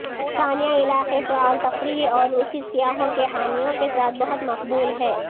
سانیا علاقے فعال تفریح اور روسی سیاحوں کے حامیوں کے ساتھ بہت مقبول ہے